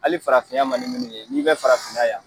Hali farafinya man ni munnu ye n'i bɛ farafin na yan.